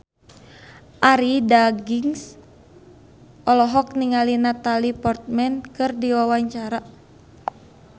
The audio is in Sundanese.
Arie Daginks olohok ningali Natalie Portman keur diwawancara